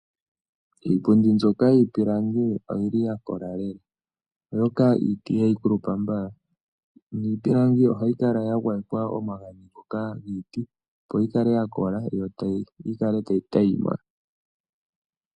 Iipundi mbyoka yiipilangi oyi li ya kola lela, oshoka iiti ihayi kulupa mbala. Niipilangi ohayi kala ya gwayekwa omagadhi ngoka giiti, opo yi kale ya kola yo yi kale tayi tayima.